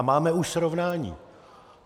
A máme už srovnání.